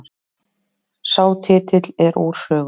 Sá titill sé úr sögunni